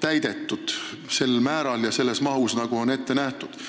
täidetud sel määral ja sellises mahus, nagu on ette nähtud.